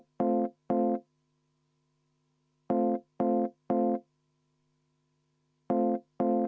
Aitäh!